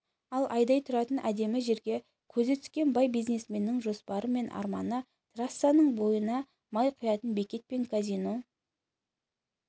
ал айдай тұратын әдемі жерге көзі түскен бай бизнесменнің жоспары мен арманы трассаның бойына май құятын бекет пен казино